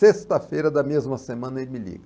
Sexta-feira da mesma semana ele me liga.